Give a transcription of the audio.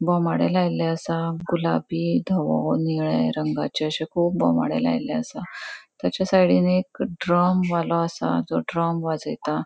बोमाडे लायल्ले आसा गुलाबी दवों नीळे रंगाचे अशे कुब बोमाडे लायल्ले आसा तेजा साइडिन एक ड्रम वालों आसा जो ड्रम वाजेता.